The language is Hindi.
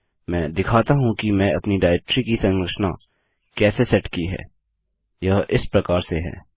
मैं दिखाता हूँ कि मैं अपनी डाइरेक्टरी की संरचना कैसे सेट की है यह इस प्रकार से है